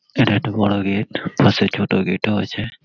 এটা একটা বড় গেট । পাশে ছোট গেট ও আছে।